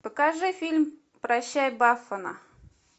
покажи фильм прощай бафана